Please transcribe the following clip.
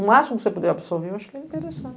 O máximo que você puder absorver, eu acho que é